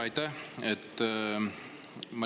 Aitäh!